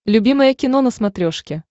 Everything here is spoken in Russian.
любимое кино на смотрешке